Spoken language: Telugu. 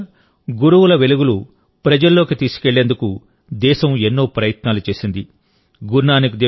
గత కొన్నేళ్లుగా గురువుల వెలుగులు ప్రజల్లోకి తీసుకెళ్లేందుకు దేశం ఎన్నో ప్రయత్నాలు చేసింది